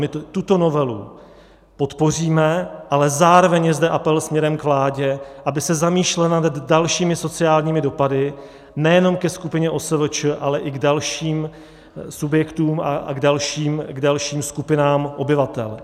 My tuto novelu podpoříme, ale zároveň je zde apel směrem k vládě, aby se zamýšlela nad dalšími sociálními dopady nejenom ke skupině OSVČ, ale i k dalším subjektům a k dalším skupinám obyvatel.